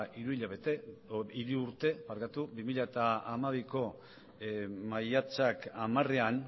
hiru urte bi mila hamabiko maiatzak hamarean